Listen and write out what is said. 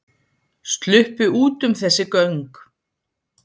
Sluppu út um þessi göng